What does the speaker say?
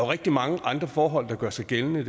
rigtig mange andre forhold der gør sig gældende